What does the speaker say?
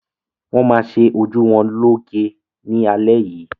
Wọn má ṣe ojú wọn lo'ge ni alẹ yìí.